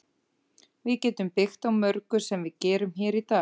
Við getum byggt á mörgu sem við gerum hér í dag.